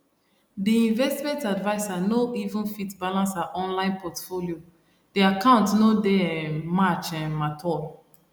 the investment adviser no even fit balance her online portfolio the account no dey um match um at all